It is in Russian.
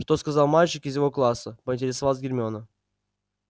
что сказал мальчик из его класса поинтересовалась гермиона